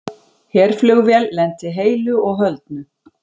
Herflugvél lenti heilu og höldnu